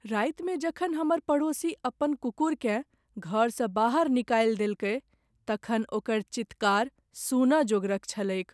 रातिमे जखन हमर पड़ोसी अपन कुकुरकेँ घरसँ बाहर निकालि देलकै तखन ओकर चीत्कार सुनऽ जोगरक छलैक।